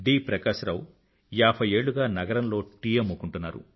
ప్రకాశ రావు ఏభై ఏళ్ళుగా నగరంలో టీ అమ్ముకుంటున్నారు